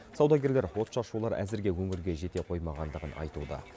саудагерлер отшашулар әзірге өңірге жете қоймағандығын айтуда